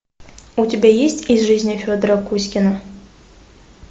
у тебя есть из жизни федора кузькина